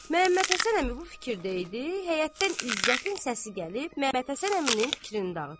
Məmmədhəsən əmi bu fikirdə idi, həyətdən İzzətin səsi gəlib Məmmədhəsən əminin fikrini dağıtdı.